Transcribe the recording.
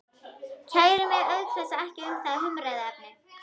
Kæri mig auk þess ekki um það umræðuefni.